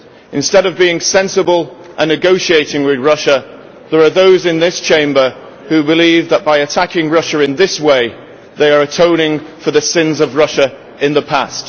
Instead of being sensible and negotiating with Russia, there are those in this Chamber who believe that by attacking Russia in this way they are atoning for the sins of Russia in the past.